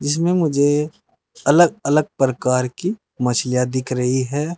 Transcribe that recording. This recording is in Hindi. इसमें मुझे अलग अलग प्रकार की मछलियां दिख रही हैं।